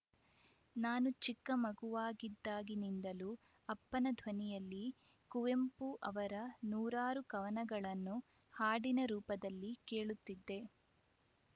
ನಾನು ಚಿಕ್ಕ ಮಗುವಾಗಿದ್ದಾಗಿಂದಲೂ ಅಪ್ಪನ ಧ್ವನಿಯಲ್ಲಿ ಕುವೆಂಪು ಅವರ ನೂರಾರು ಕವನಗಳನ್ನು ಹಾಡಿನ ರೂಪದಲ್ಲಿ ಕೇಳುತ್ತಿದ್ದೆ